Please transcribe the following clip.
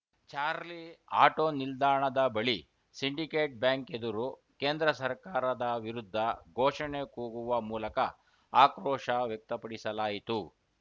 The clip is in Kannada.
ಚಾರ್ಲಿ ಆಟೋ ನಿಲ್ದಾಣದ ಬಳಿ ಸಿಂಡಿಕೇಟ್‌ ಬ್ಯಾಂಕ್‌ ಎದುರು ಕೇಂದ್ರ ಸರ್ಕಾರದ ವಿರುದ್ಧ ಘೋಷಣೆ ಕೂಗುವ ಮೂಲಕ ಆಕ್ರೋಶ ವ್ಯಕ್ತಪಡಿಸಲಾಯಿತು